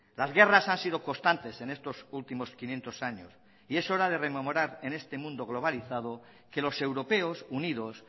las guerras han sido constantes en estos últimos quinientos años y es hora de rememorar en este mundo globalizado que los europeos unidos